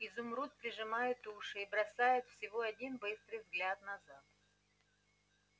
изумруд прижимает уши и бросает всего один быстрый взгляд назад